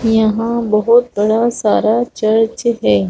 यहां बहुत बड़ा सारा चर्च है।